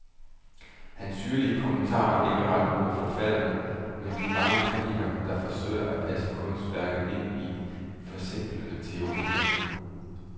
Hans syrlige kommentarer er ikke rettet mod forfatterne, men de mange kritikere, der forsøger at passe kunstværket ind i forsimplende teorier.